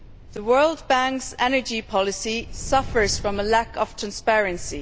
The World Bank's energy policy suffers from a lack of transparency.